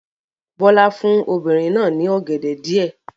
Bọ́lá fún obìnrin náà ní ọ̀gẹ̀dẹ̀ díẹ̀.